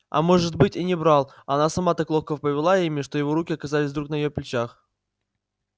а может быть и не брал а она сама так ловко повела ими что его руки оказались вдруг на её плечах